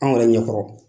Anw yɛrɛ ɲɛkɔrɔ